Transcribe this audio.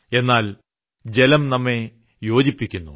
എന്നാൽ ജലം നമ്മെ യോജിപ്പിക്കുന്നു